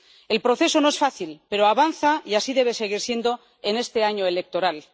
El proceso no es fácil, pero avanza y así debe seguir siendo en este año electoral.